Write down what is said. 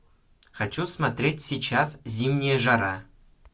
хочу смотреть сейчас зимняя жара